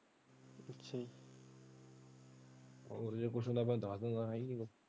ਹੋਰ ਜੋ ਪੁੱਛਣਾ ਮੈ ਦਸ ਦੁਗਾ ਹ ਹੀ ਹੋ।